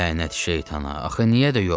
Lənət şeytana, axı niyə də yox?